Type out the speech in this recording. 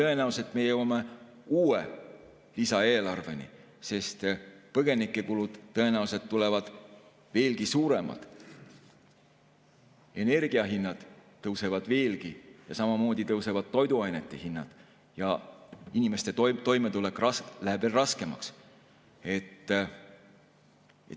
Tõenäoliselt me jõuame uue lisaeelarveni, sest põgenike kulud tulevad ilmselt veelgi suuremad, energiahinnad tõusevad veelgi ja samamoodi tõusevad toiduainete hinnad ja inimestel läheb veel raskemaks toime tulla.